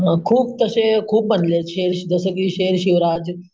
मग खुप तशे खूप बनले, शेर, जस कि शेर शिवराज.